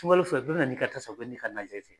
Sunkalo fɛ bɛɛ bɛ na n'i ka tasa, bɛ n'i ka na jatɛ